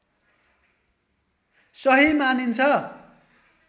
सही मानिन्छ